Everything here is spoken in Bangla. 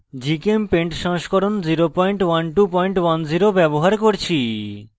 gchempaint সংস্করণ 01210 ব্যবহার করছি